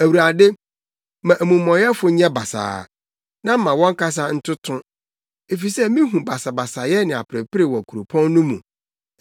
Awurade, ma amumɔyɛfo nyɛ basaa, na ma wɔn kasa ntoto, efisɛ mihu basabasayɛ ne aperepere wɔ kuropɔn no mu.